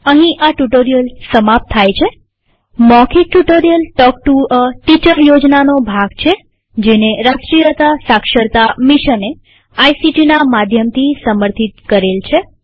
અહીં આ ટ્યુ્ટોરીઅલ સમાપ્ત થાય છેમૌખિક tutorial talk to a teacher યોજનાનો ભાગ છેજેને રાષ્ટ્રીય સાક્ષરતા મિશને આઇસીટી ના માધ્યમથી સમર્થિત કરેલ છે